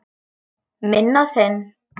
Minn og þinn.